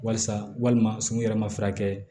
Walisa walima surun yɛrɛ ma furakɛ